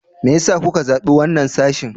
Me yasa kuka zabi wannan sashin?